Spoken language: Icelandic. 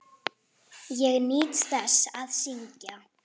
Ég nýt þess að syngja.